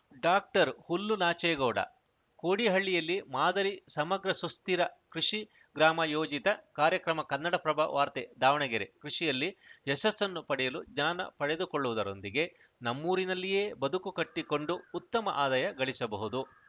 ಡಾಕ್ಟರ್ಹುಲ್ಲುನಾಚೇಗೌಡ ಕೋಡಿಹಳ್ಳಿಯಲ್ಲಿ ಮಾದರಿ ಸಮಗ್ರ ಸುಸ್ಥಿರ ಕೃಷಿ ಗ್ರಾಮ ಯೋಜಿತ ಕಾರ್ಯಕ್ರಮ ಕನ್ನಡಪ್ರಭ ವಾರ್ತೆ ದಾವಣಗೆರೆ ಕೃಷಿಯಲ್ಲಿ ಯಶಸ್ಸನ್ನು ಪಡೆಯಲು ಜ್ಞಾನ ಪಡೆದುಕೊಳ್ಳುವುದರೊಂದಿಗೆ ನಮ್ಮೂರಿನಲ್ಲಿಯೇ ಬದುಕು ಕಟ್ಟಿಕೊಂಡು ಉತ್ತಮ ಆದಾಯ ಗಳಿಸಬಹುದು